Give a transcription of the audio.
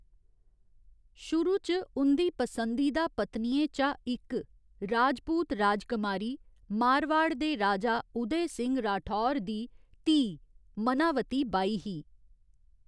शुरू च उं'दी पसंदीदा पत्नियें चा इक राजपूत राजकमारी, मारवाड़ दे राजा उदय सिंह राठौर दी धीऽ, मनावती बाई ही।